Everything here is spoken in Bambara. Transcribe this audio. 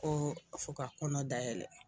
Ko a fɔ ka kɔnɔ dayɛlɛ